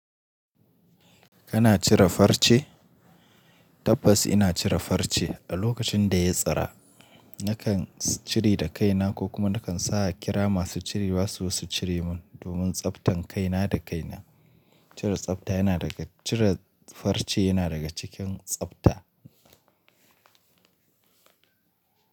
Kana cire farce? Tabbas ina cire farce. A lokacin da ya tsira, nakan cire da kaina ko kuma nakan sa a kira masu cirewa su zo su cire mun domin tsabtan kaina da kaina. Cire tsafta yana daga, cire farce yana daga cikin tsafta.